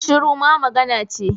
Shiru ma magana ce